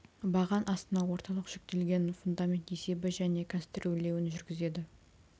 баған астына орталық жүктелген фундамент есебі және конструирлеуін жүргізеді